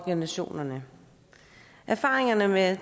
organisationerne erfaringerne med